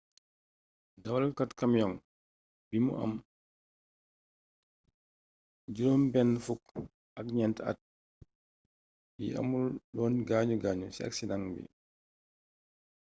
dawalkat camiong bi bu am jirom ben fuk at nient at yi amoulon gagnu gagnu ci aksideng bi